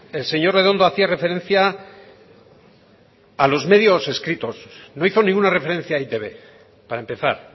el señor redondo hacía referencia a los medios escritos no hizo ninguna referencia a e i te be para empezar